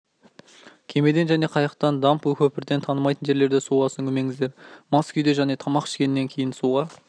кемеден және қайықтан дамб көпірден танымайтын жерлерде суға сүңгімеңіздер мас күйде және тамақ ішкеннен кейін суға